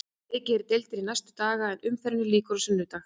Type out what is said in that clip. Leikið er í deildinni næstu daga en umferðinni lýkur á sunnudaginn.